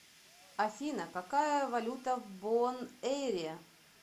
афина какая валюта в бонэйре